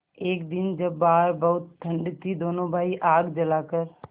एक दिन जब बाहर बहुत ठंड थी दोनों भाई आग जलाकर